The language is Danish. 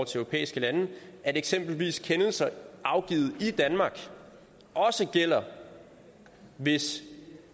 til europæiske lande at eksempelvis kendelser afgivet i danmark også gælder hvis